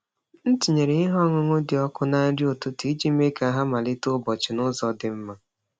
M tinyere ihe ọṅụṅụ dị ọkụ na nri ụtụtụ iji mee ka ha malite ụbọchị n’ụzọ dị mma.